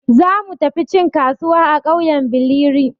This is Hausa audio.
Za mu tafi cin kasuwa a ƙauyen Billiri.